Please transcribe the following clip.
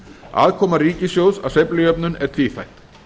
aðkoma ríkissjóðs að sveiflujöfnun er tvíþætt